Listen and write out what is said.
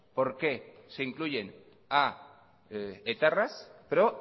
por qué se incluyen a etarras pero